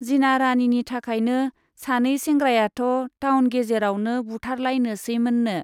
जिना राणीनि थाखायनो सानै सेंग्रायाथ' टाउन गेजेरावनो बुथारलायनोसैमोननो।